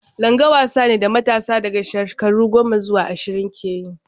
Langa wasa ne da matasa daga shekaru goma zuwa ashirin ke yi.